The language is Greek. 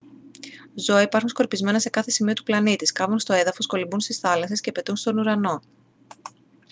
ζώα υπάρχουν σκορπισμένα σε κάθε σημείο του πλανήτη σκάβουν στο έδαφος κολυμπούν στις θάλασσες και πετούν στον ουρανό